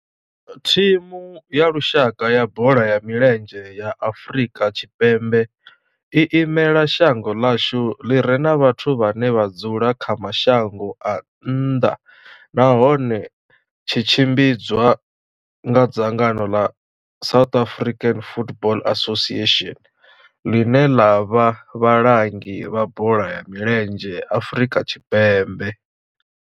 Thimu ya lushaka ya bola ya milenzhe ya Afrika Tshipembe i imela shango ḽa hashu ḽi re na vhathu vhane vha dzula kha mashango a nnḓa nahone tshi tshimbidzwa nga dzangano la South African Football Association, line la vha vhalangi vha bola ya milenzhe Afrika Tshipembe.